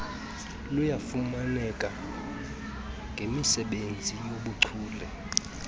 luyafumaneka ngemisebenzi yobuchule